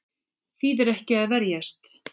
Þýðir ekki að verjast